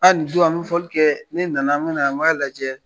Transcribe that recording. Aa nin don an bi fɔli kɛ, ne nana an bi na n b'a lajɛ